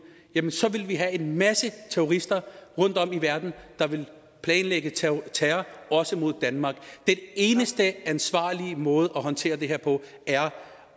så ville vi have en masse terrorister rundtom i verden der ville planlægge terror terror også mod danmark den eneste ansvarlige måde at håndtere det her på er